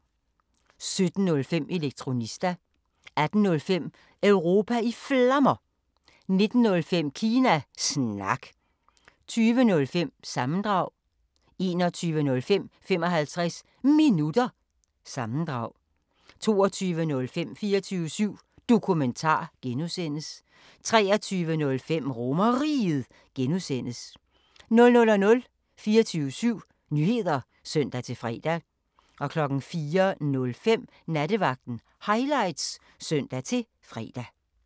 17:05: Elektronista 18:05: Europa i Flammer 19:05: Kina Snak 20:05: Sammendrag 21:05: 55 Minutter – sammendrag 22:05: 24syv Dokumentar (G) 23:05: RomerRiget (G) 00:00: 24syv Nyheder (søn-fre) 04:05: Nattevagten Highlights (søn-fre)